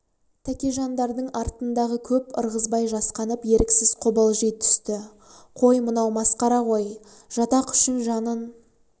тәкежандардың артындағы көп ырғызбай жасқанып еріксіз қобалжи түсті қой мынау масқара ғой жатақ үшін жанын